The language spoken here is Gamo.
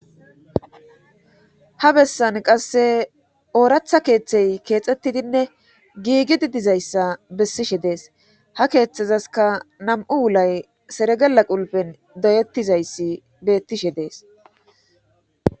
ha bessan qasse ooratha keeththey keexxettidinne giigi di dizayssa bessishe dees ha keeththezaska nam7u wulay seregela qulpen doyettizayssi bettishe dees